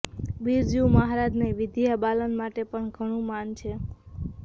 બિરજુ મહારાજને વિદ્યા બાલન માટે પણ ઘણું માન છે